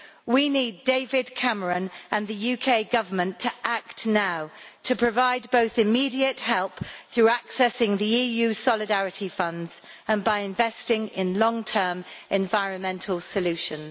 We need David Cameron and the UK Government to act now to provide both immediate help, through accessing the EU solidarity funds, and by investing in long term environmental solutions.